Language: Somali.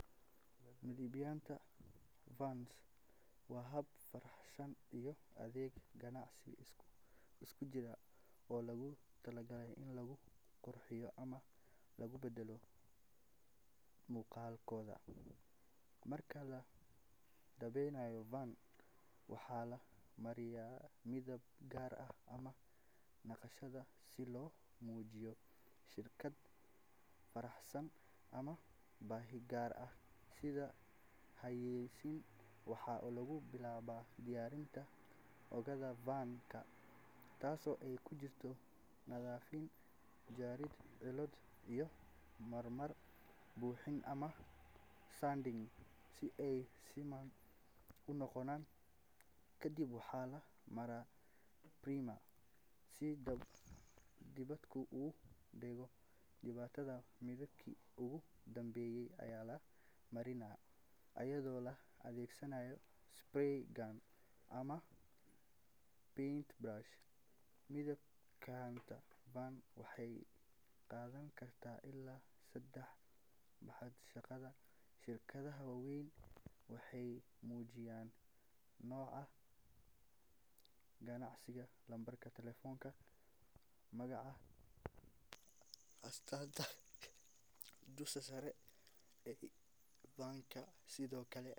Midabaynta vans waa hab farshaxan iyo adeeg ganacsi isku jira oo loogu talagalay in lagu qurxiyo ama lagu beddelo muuqaalkooda. Marka la midabeeyo van, waxaa la mariyaa midab gaar ah ama naqshad si loo muujiyo shirkad, farshaxan ama baahi gaar ah sida xayeysiin. Waxaa lagu bilaabaa diyaarinta oogada van-ka taasoo ay ku jirto nadiifin, jarid cillado, iyo marmar buuxin ama sanding si ay siman u noqoto. Kadib waxaa la marsaa primer si midabku ugu dhego, kadibna midabkii ugu dambeeyay ayaa la mariyaa iyadoo la adeegsanayo spray gun ama paint brush. Midabaynta vans waxay qaadan kartaa ilaa saddex ilaa toddoba maalmood iyadoo ku xiran baaxadda shaqada. Shirkadaha waaweyn waxay adeegsadaan custom painting si ay ugu muujiyaan magaca ganacsiga, lambarka telefoonka, iyo astaanta shirkadda dusha sare ee van-ka. Sidoo kale.